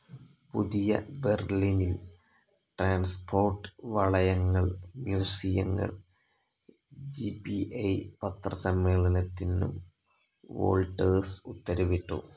പുതിയ ബെർലിനിൽ ട്രാൻസ്പോർട്ട്‌ വളയങ്ങൾ, മ്യൂസിയങ്ങൾ, ജി ബി ഇ പത്രസമ്മേളനത്തിനും വോൾട്ടേഴ്സ് ഉത്തരവിട്ടു.